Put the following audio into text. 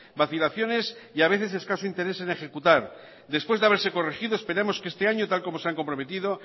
vacilaciones y a veces escaso interés en ejecutar después de haberse corregido esperamos que este año tal como se han comprometido